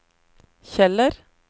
Kjeller